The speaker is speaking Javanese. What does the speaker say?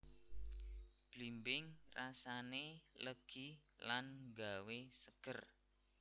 Blimbing rasané legi lan nggawé seger